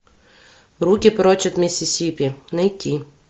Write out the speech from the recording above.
руки прочь от миссисипи найти